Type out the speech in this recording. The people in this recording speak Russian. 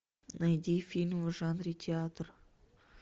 найди фильм в жанре театр